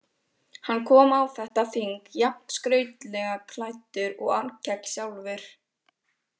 Hann kom á þetta þing jafn skrautlega klæddur og Arnkell sjálfur.